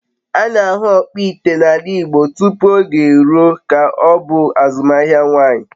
A na-ahụ ọkpụ ite n’ala Igbo tupu oge eruo ka ọ bụ azụmaahịa nwanyị.